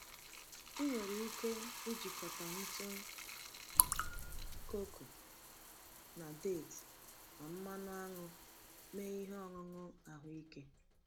Ị nwere ike ijikọta ntụ koko na deeti na mmanụ aṅụ mee ihe ọṅụṅụ ahụike.